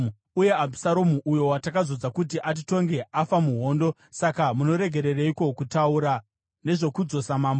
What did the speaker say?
uye Abhusaromu, uyo watakazodza kuti atitonge, afa muhondo. Saka munoregereiko kutaura nezvokudzosa mambo?”